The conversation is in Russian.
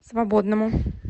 свободному